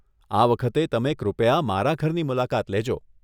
આ વખતે તમે કૃપયા મારા ઘરની મુલાકાત લેજો.